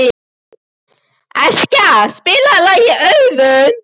Eskja, spilaðu lagið „Auður“.